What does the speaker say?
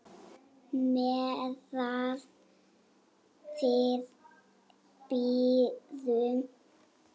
Meðan við bíðum.